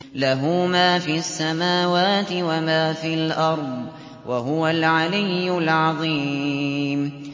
لَهُ مَا فِي السَّمَاوَاتِ وَمَا فِي الْأَرْضِ ۖ وَهُوَ الْعَلِيُّ الْعَظِيمُ